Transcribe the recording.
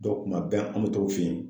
kuma bɛɛ an mɛ t'o fɛ yen.